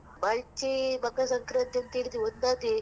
ನಮ್ಮಾಚೆ ಮಕರ ಸಂಕ್ರಾಂತಿ ಅಂತೆಳಿದ್ರೇ ಒಂದ್ ಅದೇ .